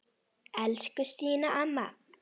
Elsku Stína amma.